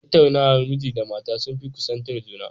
Tattaunawar miji da mata sun fi kusantar juna